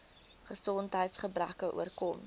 gesondheids gebreke oorkom